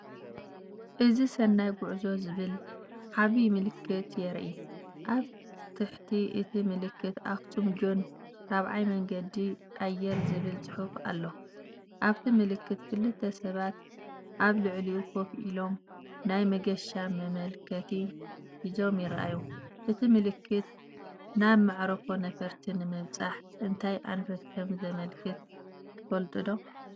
እዚ“ሰናይ ጉዕዞ”ዝብል ዓቢ ምልክት የርኢ። ኣብ ትሕቲ እቲ ምልክት“ኣክሱም ጆን ራብዓይ መንገዲ ኣየር”ዝብል ጽሑፍ ኣሎ። ኣብቲ ምልክት ክልተ ሰባት ኣብ ልዕሊኡ ኮፍ ኢሎም፡ናይ መገሻ መመልከቲ ሒዞም ይረኣዩ። እዚ ምልክት ናብ መዓርፎ ነፈርቲ ንምብጻሕ እንታይ ኣንፈት ከም ዘመልክት ትፈልጡዶ?